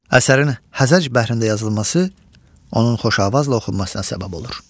Əsərin hərəc bəhrində yazılması onun xoşavazla oxunmasına səbəb olur.